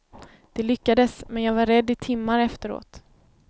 Det lyckades men jag var rädd i timmar efteråt.